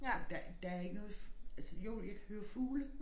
Der der ikke noget altså jo jeg kan høre fugle